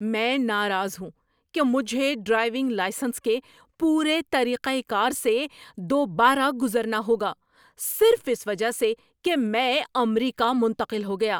میں ناراض ہوں کہ مجھے ڈرائیونگ لائسنس کے پورے طریقہ کار سے دوبارہ گزرنا ہوگا صرف اس وجہ سے کہ میں امریکہ منتقل ہو گیا۔